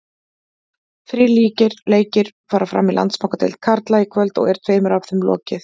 Þrír leikir fara fram í Landsbankadeild karla í kvöld og er tveimur af þeim lokið.